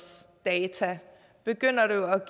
data begynder det